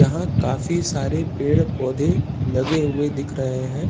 यहाँ काफी सारे पेड़ पौधे लगे हुए दिख रहे हैं।